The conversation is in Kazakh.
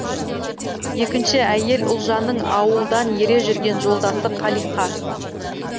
екінші әйел ұлжанның ауылдан ере жүрген жолдасы қалиқа